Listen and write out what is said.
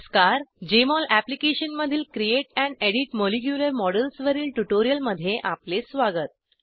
Jmol अॅप्लिकेशनमधील create and edit molecular models वरील ट्युटोरियलमध्ये आपले स्वागत